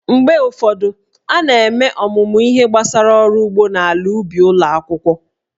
Mgbe ụfọdụ, a na-eme ọmụmụ ihe gbasara ọrụ ugbo na ala ubi ụlọ akwụkwọ